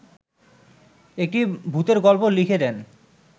একটা ভূতের গল্প লিখে দেন